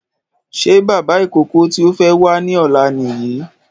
Ṣé bàbá ìkókó tí ó fẹ́ wá ní ọ̀la Nìyí?